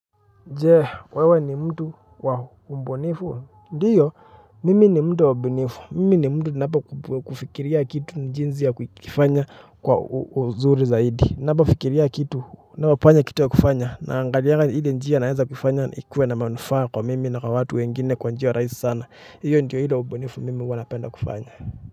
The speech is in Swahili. Je, wewe ni mtu wa ubunifu. Ndiyo, mimi ni mtu wa ubunifu. Mimi ni mtu napokufikiria kitu jinsi ya kukifanya kwa uzuri zaidi. Napofikiria kitu, napopata kitu ya kufanya. Naangalianga ile njia naeza kufanya ikuwe na manufaa kwa mimi na kwa watu wengine kwa njia rahisi sana. Hiyo ndo ile ubunifu mimi huwa napenda kufanya.